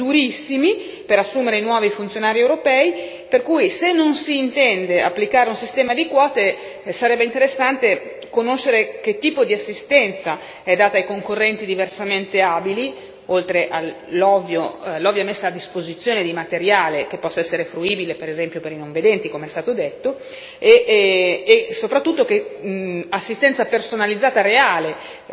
L'agenzia di reclutamento dell'Unione europea l'EPSO, organizza dei concorsi durissimi per assumere nuovi funzionari europei, per cui se non si intende applicare un sistema di quote, sarebbe interessante conoscere che tipo di assistenza è data ai concorrenti diversamente abili, oltre all'ovvia messa a disposizione di materiali, che possa essere fruibile per esempio per i non vedenti, come è stato detto,